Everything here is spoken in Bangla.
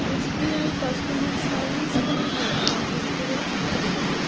এস_বি_আই কাস্টমার সার্ভিস পয়েন্ট লেখা দেখতে পাচ্ছি ছবিটাতে .